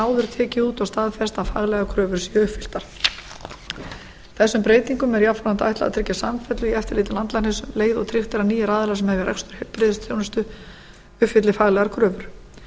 áður tekið út og staðfest að faglegar kröfur séu uppfylltar þessum breytingum er jafnframt ætlað að tryggja samfellu í eftirliti landlæknis um leið og tryggt er að nýir aðilar sem hefja rekstur heilbrigðisþjónustu uppfylli faglegar kröfur